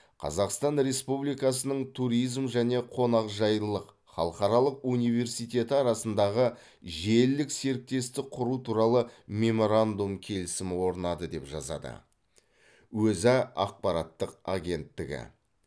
қазақстан республикасының туризм және қонақжайлылық халықаралық университеті арасындағы желілік серіктестік құру туралы меморандум келісімі орнады деп жазады өза ақпараттық агенттігі